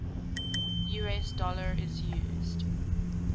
us dollar is used